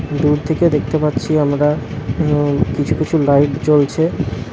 দূর থেকে দেখতে পাচ্ছি আমরা উম কিছু কিছু লাইট জ্বলছে।